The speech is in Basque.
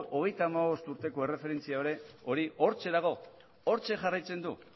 hogeita hamabost urteko erreferentzia hori hortxe dago hortxe jarraitzen du